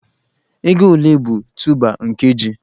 Ego ole bụ tuuba nke ji?